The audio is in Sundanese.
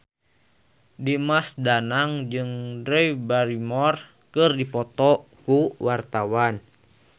Dimas Danang jeung Drew Barrymore keur dipoto ku wartawan